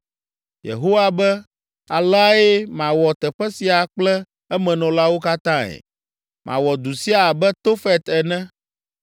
Yehowa be, aleae mawɔ teƒe sia kple emenɔlawo katãe. Mawɔ du sia abe Tofet ene.